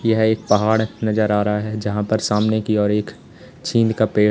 यह एक पहाड़ नजर आ रहा है जहां पर सामने की ओर एक चीड़ का पेड़--